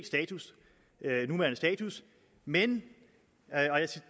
status men